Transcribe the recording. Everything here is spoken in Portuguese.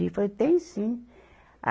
Ir. Falou, tem sim.